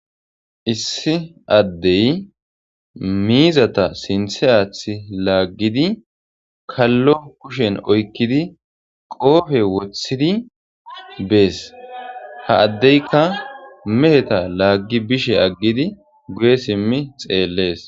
issi addey miizata sinthe aath laaggidi kallo kushen oykkidi qoofe woththidi bees ha addeyka meheta laaggi bishe aggidi guye simmi xeellees